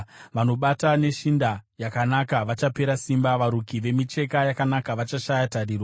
Vanobata neshinda yakanaka vachapera simba, varuki vemicheka yakanaka vachashaya tariro.